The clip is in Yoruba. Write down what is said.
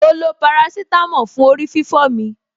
Mo lo parasítámọ̀ fún orí-fífọ́ mi.